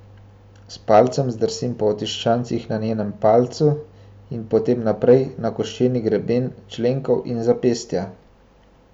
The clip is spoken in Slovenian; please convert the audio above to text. S palcem zdrsim po otiščancih na njenem palcu in potem naprej na koščeni greben členkov in zapestja.